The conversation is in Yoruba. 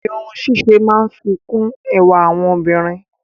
Irun ṣíṣe máa ń fi kún ẹwà àwọn obìnrin.